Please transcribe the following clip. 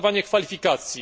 uznawanie kwalifikacji.